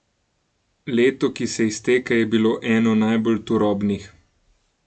Leto, ki se izteka, je bilo eno najbolj turobnih.